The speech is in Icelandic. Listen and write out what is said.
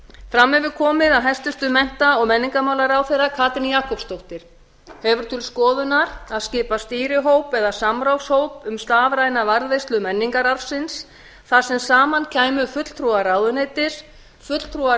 fram hefur komið að hæstvirtum mennta og menningarmálaráðherra katrín jakobsdóttir hefur til skoðunar að skipa stýrihóp eða samráðshóp um stafræna varðveislu menningararfsins þar sem saman kæmu fulltrúar ráðuneytis fulltrúar